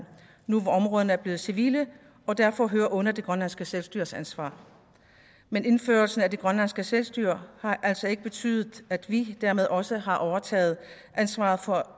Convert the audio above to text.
nu hvor områderne er blevet civile og derfor hører under det grønlandske selvstyres ansvar men indførelsen af det grønlandske selvstyre har altså ikke betydet at vi dermed også har overtaget ansvaret for